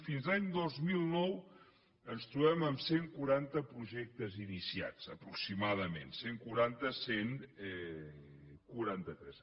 fins a l’any dos mil nou ens trobem amb cent i quaranta projectes iniciats aproximadament cent i quaranta cent i quaranta tres